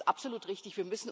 Das ist absolut richtig